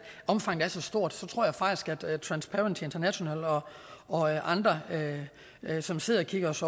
omfanget er så stort så tror jeg faktisk at transparency international og andre som sidder og kigger os